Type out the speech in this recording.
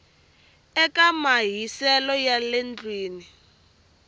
eka mahiselo ya le ndlwini